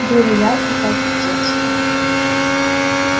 было ярко как в детстве